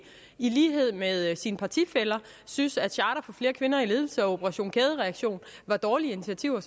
i lighed med sine partifæller synes at charter for flere kvinder i ledelse og operation kædereaktion var dårlige initiativer